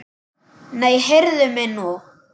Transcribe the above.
Nei, heyrðu mig nú!